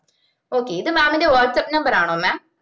okay ഇത് mam ൻറെ whatsappnumber ആണോ mam